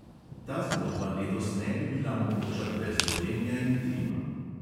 Ta zgodba letos ne bi bila mogoča brez gorenja in trima.